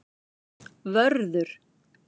Vörður